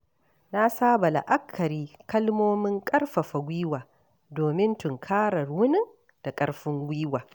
Na saba la'akari kalmomin ƙarfafa gwiwa domin tunkarar wunin da ƙarfin gwiwa.